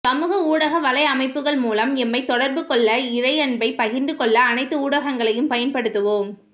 சமூக ஊடக வலையமைப்புக்கள் மூலம் எம்மை தொடர்புகொள்ளஇறையன்பை பகிர்ந்துகொள்ள அனைத்து ஊடகங்களையும் பயன்படுத்துவோம்